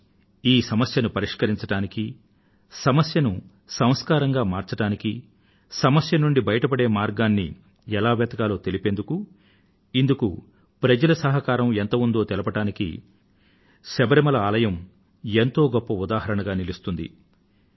కానీ ఈ సమస్య ను పరిష్కరించడానికీ సమస్యను సంస్కారంగా మార్చడానికీ సమస్య నుండి బయట పడే మార్గాన్ని ఎలా వెతకాలో తెలిపేందుకు ఇందుకు ప్రజల సహకారం ఎంత ఉందో తెలపడానికి శబరిమల ఆలయం ఎంతో గొప్ప ఉదాహరణగా నిలుస్తుంది